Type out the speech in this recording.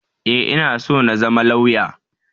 E, ina so na zama lauya.